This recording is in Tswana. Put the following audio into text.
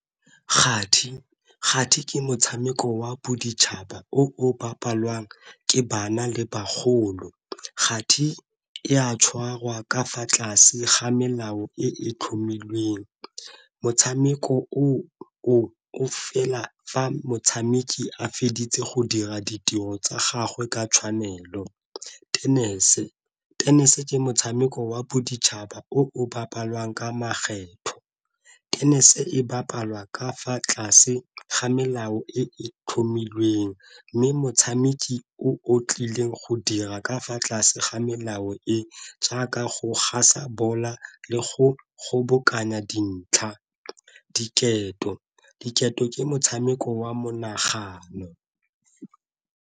Kati, kgati ke motshameko wa boditšhaba o bapalwang ke bana le bagolo. Kgati ga e a tshwarwa ka fa tlase ga melao e tlhomilweng, motshameko o o fela fa motshameki a feditse go dira ditiro tsa gagwe ka tshwanelo. Tenese, tenese ke motshameko wa boditšhaba o of bapalwang ka makgetho, tennis e bapalwa ka fa tlase ga melao e tlhomilweng mme motshameki o o tlileng go dira ka fa tlase ga melao e jaaka go ga sa bola a le go go kgobokanya dintlha. Diketo, diketo ke motshameko wa monagano.